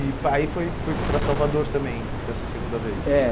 E aí foi foi para Salvador também, dessa segunda vez? É